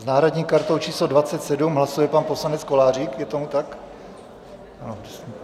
S náhradní kartou číslo 27 hlasuje pan poslanec Kolářík, je tomu tak?